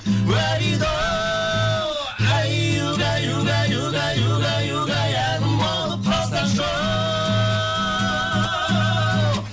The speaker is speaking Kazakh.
үәриді оу әй угай угай угай угай угай әнім болып қалсаңшы оу